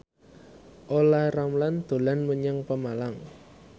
Olla Ramlan dolan menyang Pemalang